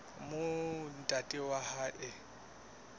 moo ntate wa hae a